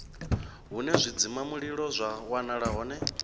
hune zwidzimamulilo zwa wanala hone